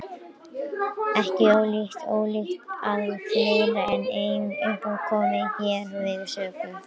Ekki er ólíklegt að fleiri en ein uppspretta komi hér við sögu.